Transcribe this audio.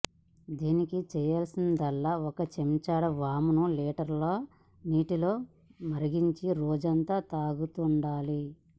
దీనికి చేయాల్సిందల్లా ఒక చెంచాడు వామును లీటర్ నీటిలో మరిగించి రోజంతా తాగుతూండాలి